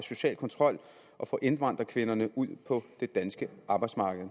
social kontrol og få indvandrerkvinderne ud på det danske arbejdsmarked